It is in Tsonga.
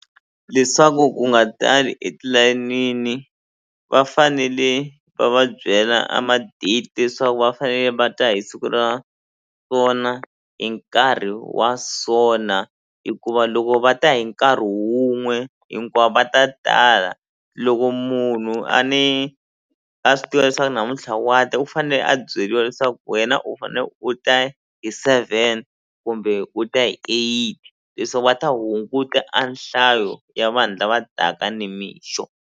Leswaku ku nga tali etilayenini va fanele va va byela a ma-date leswaku va fanele va ta hi siku ra so na hi nkarhi wa so na hikuva loko va ta hi nkarhi wun'we hinkwavo va ta tala loko munhu a ni a swi tiva leswaku namuntlha wa ta u fane a byeliwa leswaku wena u fane u ta hi seven kumbe u ta hi eight leswaku va ta hunguta a nhlayo ya vanhu lava taka nimixo.